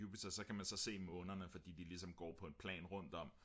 så kan man så se månerne fordi de går på et plan rundt om